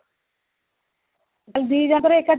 କହିଲି ଦି ଜଣ ଙ୍କର ଏକା ଥରକେ